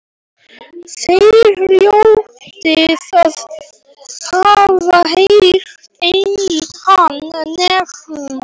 Þér hljótið að hafa heyrt hann nefndan.